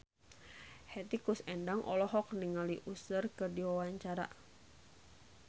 Hetty Koes Endang olohok ningali Usher keur diwawancara